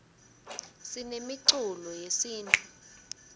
sinemiculo yesintfu